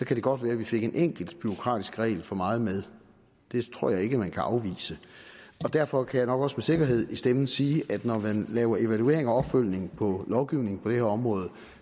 kan det godt være vi fik en enkelt bureaukratisk regel for meget med det tror jeg ikke man kan afvise derfor kan jeg nok også sikkerhed i stemmen sige at når man laver evaluering og opfølgning på lovgivningen på det her område